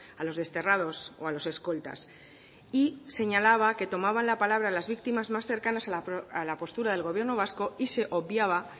a los desterrados o a los escoltas y señalaba que tomaban la palabra las victimas más cercanas a la postura del gobierno vasco y se obviaba